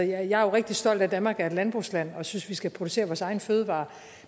jeg er rigtig stolt af at danmark er et landbrugsland og jeg synes vi skal producere vores egne fødevarer